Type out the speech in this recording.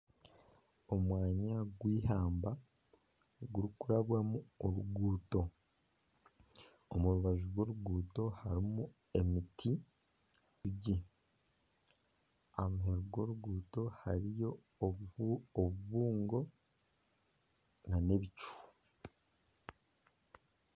Omwanya gwihamba gurikurabwamu oruguuto, omu rubaju rw'oruguuto hariho emiti mikye , aha rubaju rw'oruguuto hariyo obubuungo nana ebicu